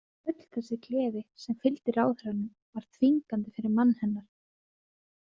Öll þessi gleði sem fylgdi ráðherranum var þvingandi fyrir mann hennar.